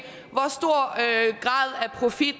profit